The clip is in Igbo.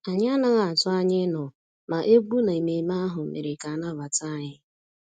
Anyị anaghị atụ anya ịnọ, ma egwú na ememe ahụ mere ka a nabata anyị